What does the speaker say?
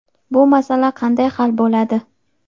Bu masala qanday hal bo‘ladi?.